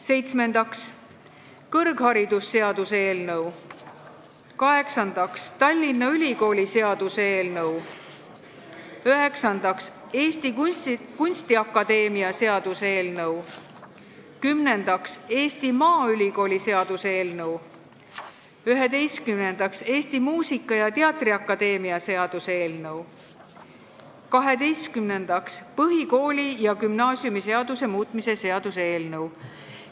Seitsmendaks, kõrgharidusseaduse eelnõu, kaheksandaks, Tallinna Ülikooli seaduse eelnõu, üheksandaks, Eesti Kunstiakadeemia seaduse eelnõu, kümnendaks, Eesti Maaülikooli seaduse eelnõu, üheteistkümnendaks, Eesti Muusika- ja Teatriakadeemia seaduse eelnõu, ja kaheteistkümnendaks, põhikooli- ja gümnaasiumiseaduse muutmise seaduse eelnõu.